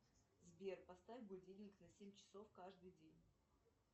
сбер поставь будильник на семь часов каждый день